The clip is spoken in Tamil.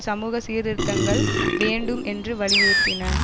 சமூக சீர்திருத்தங்கள் வேண்டும் என்று வலியுறுத்தின